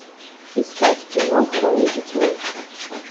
искать кино хроники тьмы